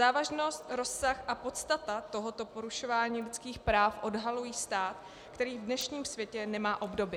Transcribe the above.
Závažnost, rozsah a podstata tohoto porušování lidských práv odhalují stav, který v dnešním světě nemá obdoby.